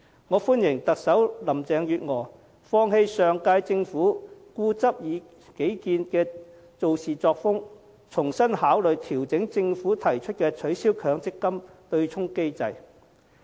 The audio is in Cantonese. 我歡迎特首林鄭月娥放棄上屆政府固執己見的處事作風，重新考慮調整政府提出的取消強積金對沖機制的建議。